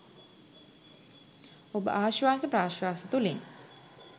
ඔබ ආශ්වාස ප්‍රශ්වාස තුළින්